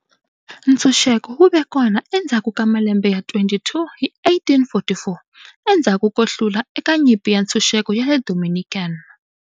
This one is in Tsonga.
Ntshunxeko wu ve kona endzhaku ka malembe ya 22 hi 1844, endzhaku ko hlula eka Nyimpi ya Ntshunxeko ya le Dominican.